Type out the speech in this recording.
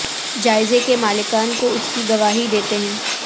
جائزے کے مالکان کو اس کی گواہی دیتے ہیں